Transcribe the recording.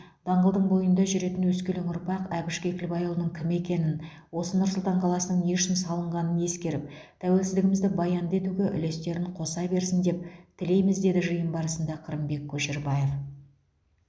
даңғылдың бойында жүретін өскелең ұрпақ әбіш кекілбайұлының кім екенін осы нұр сұлтан қаласының не үшін салынғанын ескеріп тәуелсіздігімізді баянды етуге үлестерін қоса берсін деп тілейміз деді жиын барысында қырымбек көшербаев